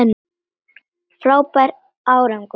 Frábær árangur